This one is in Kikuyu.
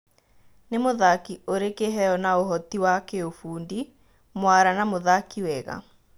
Nĩ mũthaki ũrĩ kĩheyo na ũhoti wa kĩũfundi, mwara na mũthaki wega.